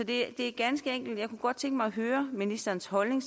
det er ganske enkelt jeg kunne godt tænke mig at høre ministerens holdning